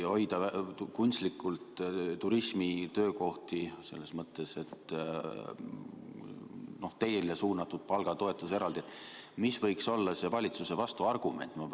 Kui hoida kunstlikult alal turismi töökohti, teile suunatud palgatoetust, siis mis võiks olla valitsuse vastuargument?